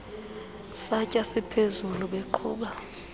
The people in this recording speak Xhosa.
santya siphezulu beqhuba